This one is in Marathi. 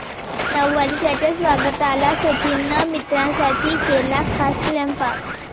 नववर्षाच्या स्वागताला सचिननं मित्रांसाठी केला खास स्वयंपाक